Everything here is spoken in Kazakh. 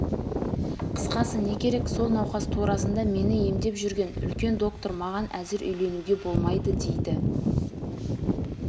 қысқасы не керек сол науқас турасында мені емдеп жүрген үлкен доктор маған әзір үйлеңуге болмайды дейді